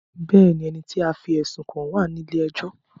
Bẹ́ẹ̀ni, ẹni tí a fí ẹ̀sùn kàn wá à ní ilé ẹjọ́